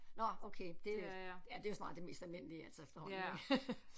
Nåh okay det er ja det er jo snart det mest almindelige altså efterhånden ik